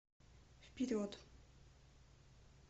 вперед